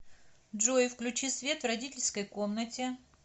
джой включи свет в родительской комнате